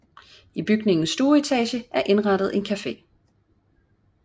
I bygningens stueetage er indrettet en café